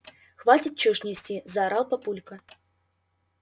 хватит чушь нести заорал папулька